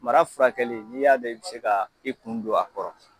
Mara furakɛli n'i y'a dɔn bɛ se ka i kun don a kɔrɔ